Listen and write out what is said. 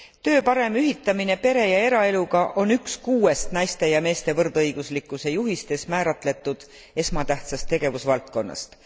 Töö parem ühitamine pere ja eraeluga on üks kuuest naiste ja meeste võrdõiguslikkuse juhistes määratletud esmatähtsast tegevusvaldkonnast.